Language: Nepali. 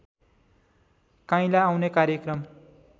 काइँला आउने कार्यक्रम